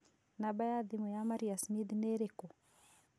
Namba ya thimũ ya Maria Smith nĩ ĩrĩkũ